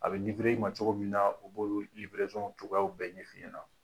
A bi i ma cogoya min na, u b'olu cogoyaw bɛɛ ɲɛfi ɲɛna.